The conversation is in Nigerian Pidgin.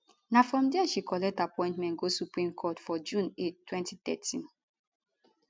na from dia she collect appointment go supreme court for june 8 2013